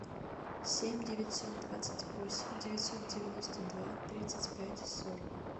семь девятьсот двадцать восемь девятьсот девяносто два тридцать пять сорок